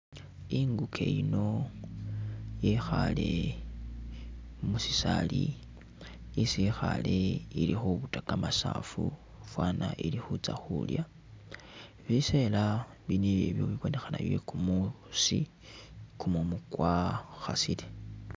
Inguke yino yekhaale mu sisaali, isi yikhaale ili khubuta kamasaafu faana ili khutsa khulya biseela byabonekhane byekumusi, kumumu kwakhasile.